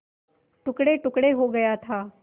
टुकड़ेटुकड़े हो गया था